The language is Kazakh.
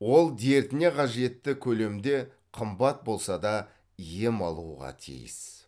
ол дертіне қажетті көлемде қымбат болса да ем алуға тиіс